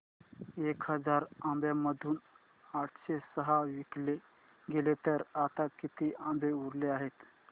एक हजार आंब्यांमधून आठशे सहा विकले गेले तर आता किती आंबे उरले आहेत